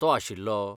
तो आशिल्लो?